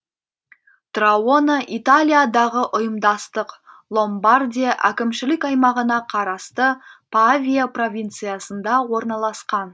траона италиядағы ұйымдастық ломбардия әкімшілік аймағына қарасты павия провинциясында орналасқан